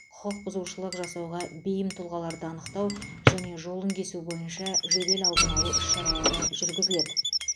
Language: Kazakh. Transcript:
құқық бұзушылық жасауға бейім тұлғаларды анықтау және жолын кесу бойынша жедел алдын алу іс шаралары жүргізіледі